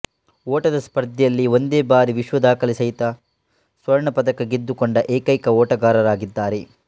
ಓಟದಸ್ಪರ್ಧೆಯಲ್ಲಿ ಒಂದೇಬಾರಿ ವಿಶ್ವದಾಖಲೆಸಹಿತ ಸ್ವರ್ಣ ಪದಕ ಗೆದ್ದುಕೊಂಡ ಏಕೈಕ ಓಟಗಾರರಾಗಿದ್ದಾರೆ